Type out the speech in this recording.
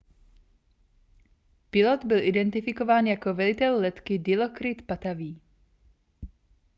pilot byl identifikován jako velitel letky dilokrit pattavee